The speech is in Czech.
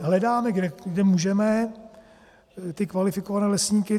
Hledáme, kde můžeme, ty kvalifikované lesníky.